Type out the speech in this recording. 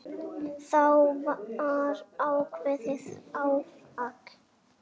Það var ákveðið áfall.